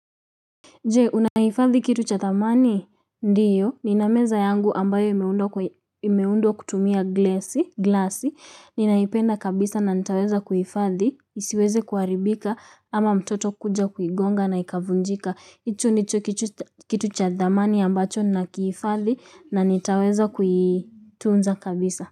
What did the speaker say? Jee, unahifadhi kitu cha thamani? Ndio. Nina meza yangu ambayo imeundwa kutumia glasi. Ninaipenda kabisa na nitaweza kuhifadhi. Isiweze kuharibika ama mtoto kuja kuigonga na ikavunjika. Hicho ndicho kitu cha thamani ambacho nakiifadhi na nitaweza kuituunza kabisa.